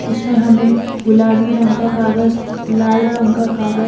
इसमें हमें गुलाबी रंग का कागज लाल रंग का कागज--